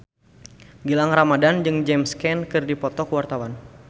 Gilang Ramadan jeung James Caan keur dipoto ku wartawan